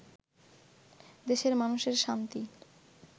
দেশের মানুষের শান্তি